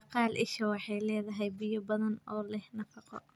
Baqaal isha waxay leedahay biyo badan oo leh nafaqo.